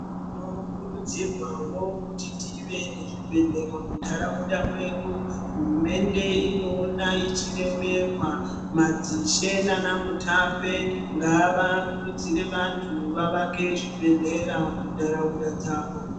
Tinokurudzirwavo kuti tive nezvibhedhlera munharaunda mwedu. Hurumende inoona ichiremerwa madzishe nana mutape ngava kurudzire vantu vavake zvibhedhlera muntaraunda dzavo.